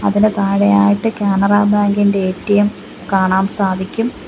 അതിന് താഴെയായിട്ട് കാനറ ബാങ്ക് ഇൻ്റെ എ_റ്റി_എം കാണാം സാധിക്കും.